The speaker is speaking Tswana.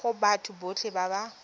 go batho botlhe ba ba